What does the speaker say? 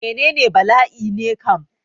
Menene bala'i ne kam?